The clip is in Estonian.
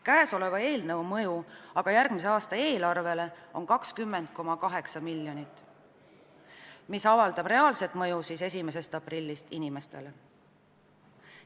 Käesoleva eelnõu mõju järgmise aasta eelarvele on aga 20,8 miljonit, mis avaldab inimestele reaalset mõju 1. aprillist.